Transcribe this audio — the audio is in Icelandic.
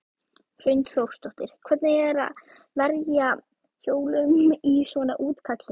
Hrund Þórsdóttir: Hvernig er að verja jólum í svona útkalli?